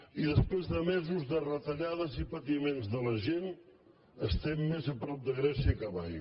i després de mesos de retallades i patiments de la gent estem més a prop de grècia que mai